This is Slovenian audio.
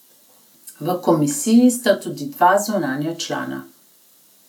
V komisiji sta tudi dva zunanja člana.